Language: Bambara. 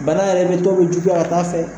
Bana yɛrɛ bɛ tɔ bɛ juguya ka taa fɛ.